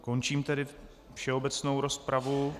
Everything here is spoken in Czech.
Končím tedy všeobecnou rozpravu.